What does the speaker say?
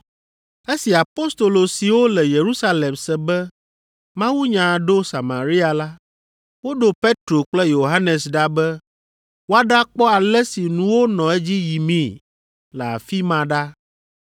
Esi apostolo siwo le Yerusalem se be mawunya ɖo Samaria la, woɖo Petro kple Yohanes ɖa be woaɖakpɔ ale si nuwo nɔ edzi yimii le afi ma ɖa.